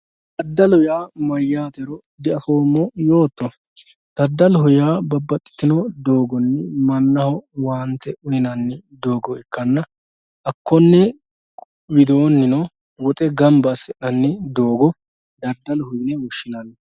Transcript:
Daddalu yaa mayyatero diafommo yootto, daddaloho yaa babbaxxitino doogonni mannaho owaante uyinanni doogo ikkanna hakkone widoonino woxe gamba assi'nanni doogo daddaloho yine woshshinanni.